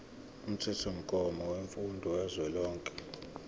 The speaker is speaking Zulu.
umthethomgomo wemfundo kazwelonke